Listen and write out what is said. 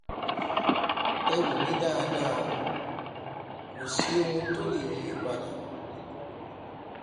ẹ wò mí dáadá kò sí ohun tó lè yí i padà